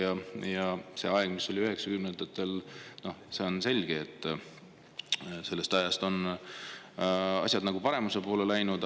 Selle ajaga võrreldes, mis oli üheksakümnendatel – see on selge –, on asjad paremuse poole läinud.